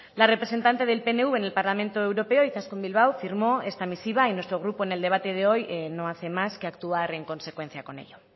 la representante del pnv en el parlamento europeo izaskun bilbao firmó esta misiva y nuestro grupo en el debate de hoy no hace más que actuar en consecuencia con ello